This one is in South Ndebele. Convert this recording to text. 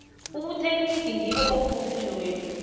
ubutekniri ngibo obubuphilo bethu